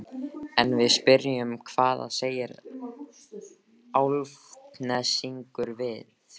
En við spyrjum hvað segja Álftnesingar við því?